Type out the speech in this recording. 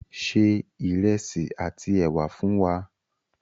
Ṣé ìrẹsí àti è̩wà fún wà!